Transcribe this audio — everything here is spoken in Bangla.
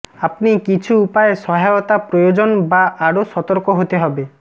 আপনি কিছু উপায় সহায়তা প্রয়োজন বা আরো সতর্ক হতে হবে